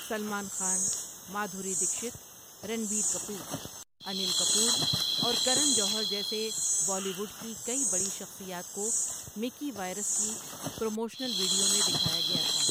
سلمان خان، مادھوری دکشت، رنبیر کپور، انیل کپور اور کرن جوہر جیسے بالی ووڈ کی کئی بڑی شخصیات کو مکی وائرس کی پروموشنل ویڈیو میں دکھایا گیا تھا۔